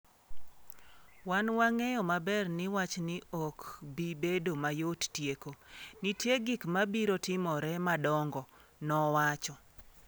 “Wan wang’eyo maber ni wachni ok bi bedo mayot tieko, nitie gik mabiro timore madongo,” nowacho.